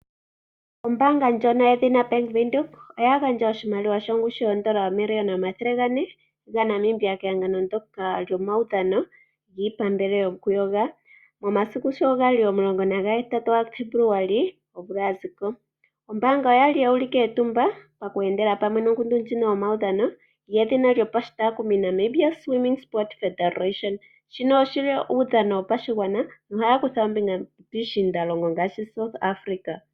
Ombaanga ndjoka yedhina Bank Windhoek oya gandja oshimaliwa shongushu yoondola N$ 400 000 kehangano ndyoka lyomaudhano giipambele yokuyoga momasiku sho ga li 18 Febuluali omvula ya zi ko. Ombaanga oya li yu ulike etumba oku endela pamwe nongundu ndjika yomaudhano yedhina Namibia Swimming Sport Federation. Shika oshi li uudhano wopashigwana nohaya kutha ombinga piishiindalongo ngaashi South Africa.